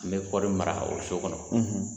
N bɛ kɔɔri mara o so kɔnɔ